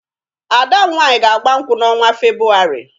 Ada m nwaanyị ga-agba nkwụ n'ọnwa Febụwarị